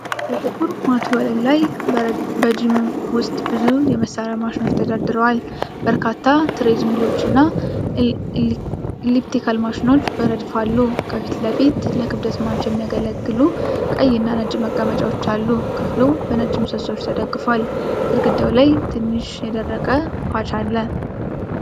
ጥቁር ማት ወለል ላይ በጂም ውስጥ ብዙ የመስሪያ ማሺኖች ተሰድረዋል። በርካታ ትሬድ ሚሎች እና ኤሊፕቲካል ማሺኖች በረድፍ አሉ። ከፊት ለፊት ለክብደት ማንሻ የሚያገለግሉ ቀይና ነጭ መቀመጫዎች አሉ። ክፍሉ በነጭ ምሰሶዎች ተደግፎአል። ግድግዳው ላይ ትንሽ የደረቀ ፓች አለ።